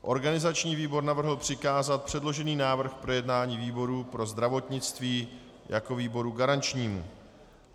Organizační výbor navrhl přikázat předložený návrh k projednání výboru pro zdravotnictví jako výboru garančnímu.